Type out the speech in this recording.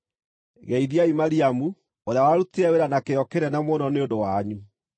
Geithiai Mariamu, ũrĩa warutire wĩra na kĩyo kĩnene mũno nĩ ũndũ wanyu.